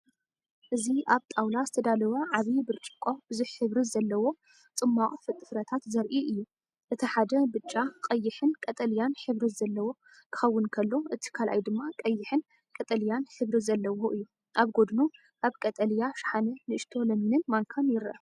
እዚ ኣብ ጣውላ ዝተዳለወ ዓቢ ብርጭቆ ብዙሕ ሕብሪ ዘለዎ ጽማቝ ፍረታት ዘርኢ እዩ። እቲ ሓደ ብጫ፡ቀይሕን ቀጠልያን ሕብሪ ዘለዎ ክኸውን ከሎ፡እቲ ካልኣይ ድማ ቀይሕን ቀጠልያን ሕብሪ ዘለዎ እዩ። ኣብ ጎድኑ ኣብ ቀጠልያ ሻሓነ ንእሽቶ ለሚንንማንካን ይርአ።